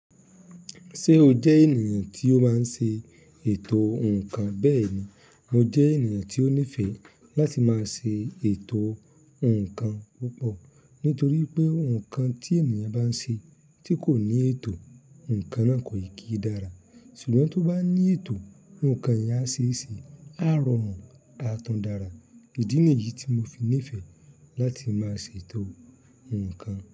Ṣé o jẹ́ ènìyàn tí ó máa ń ṣe ètò ǹkan? Bẹ́ẹ̀ni, mo jẹ́ ènìyàn tí ó nífẹ̀ẹ́ láti máa ṣe ètò ǹkan púpọ̀. Nítorí pé ǹkan tí ènìyàn bá ń ṣe tí kò ní ètò, ǹkan náà kò ì kí dára. Ṣùgbọ́n tó bá ní ètò, ǹkan yẹn á ṣe é ṣe, á rọrùn, tá tún dára. Ìdí nà yìí tí mo fi nífẹ̀ẹ́ láti máa ṣe ètò ǹkan.